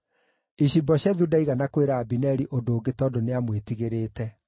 Ishi-Boshethu ndaigana kwĩra Abineri ũndũ ũngĩ tondũ nĩamwĩtigĩrĩte.